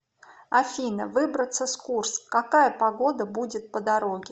афина выбраться с курск какая погода будет по дороге